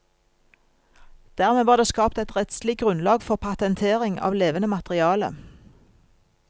Dermed var det skapt et rettslig grunnlag for patentering av levende materiale.